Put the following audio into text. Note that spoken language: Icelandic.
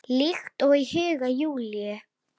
Líkt og í huga Júlíu.